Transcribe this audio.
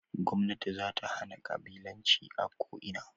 Gwamnati zata hana ƙabilanci a ko ina